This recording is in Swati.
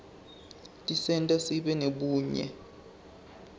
tisenta sibe nebunye